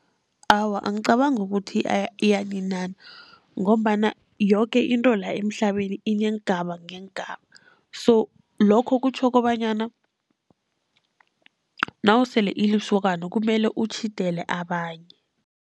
Awa, angicabangi ukuthi iyaninana, ngombana yoke into la emhlabeni ineengaba ngeengaba, so lokho kutjho kobanyana nasele ulisokana kumele utjhidele abanye.